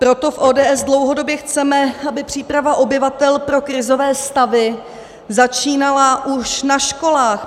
Proto v ODS dlouhodobě chceme, aby příprava obyvatel pro krizové stavy začínala už na školách.